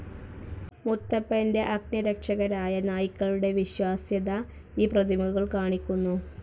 മുത്തപ്പന്റെ അംഗരക്ഷകരായ നായ്ക്കളുടെ വിശ്വാസ്യത ഈ പ്രതിമകൾ കാണിക്കുന്നു.